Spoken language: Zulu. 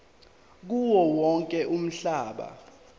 kuwo wonke umhlaba